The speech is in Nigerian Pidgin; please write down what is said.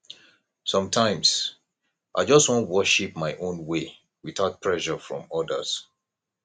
sometimes i just wan worship my own way without pressure from odirs